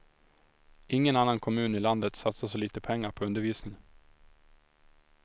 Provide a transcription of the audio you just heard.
Ingen annan kommun i landet satsar så lite pengar på undervisning.